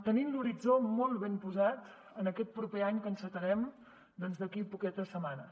tenim l’horitzó molt ben posat en aquest proper any que encetarem doncs d’aquí poquetes setmanes